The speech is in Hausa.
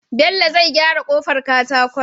Bello zai gyara kofar katakon